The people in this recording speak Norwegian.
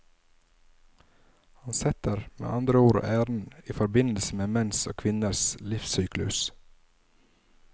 Han setter med andre ord æren i forbindelse med menns og kvinners livssyklus.